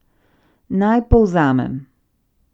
Naj povzamem!